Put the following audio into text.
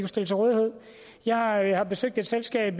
stille til rådighed jeg har jeg har besøgt et selskab